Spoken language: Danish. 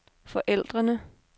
forældrene